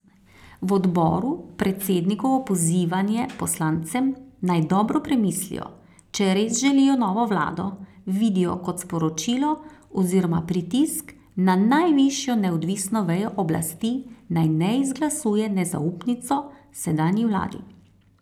V odboru predsednikovo pozivanje poslancem, naj dobro premislijo, če res želijo novo vlado, vidijo kot sporočilo oziroma pritisk na najvišjo neodvisno vejo oblasti, naj ne izglasuje nezaupnico sedanji vladi.